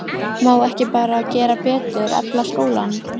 Hróðólfur, hringdu í Hildegard eftir sextíu og fimm mínútur.